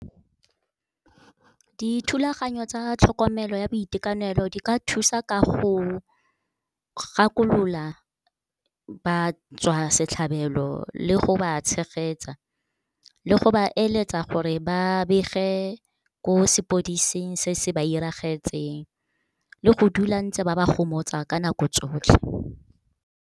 Dithulaganyo tsa tlhokomelo ya boitekanelo, di ka thusa ka go gakolola batswasetlhabelo le go ba tshegetsa, le go ba eletsa gore ba bege ko sepodising se se ba iragetseng, le go dula ntse ba ba gomotsa ka nako tsotlhe.